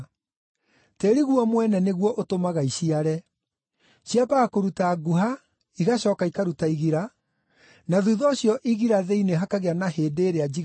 Tĩĩri guo mwene nĩguo ũtũmaga iciare. Ciambaga kũruta nguha igacooka ikaruta igira, na thuutha ũcio igira thĩinĩ hakagĩa na hĩndĩ ĩrĩa njiganu.